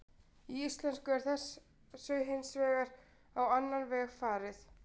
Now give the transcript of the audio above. Í íslensku er þessu hins vegar á annan veg farið.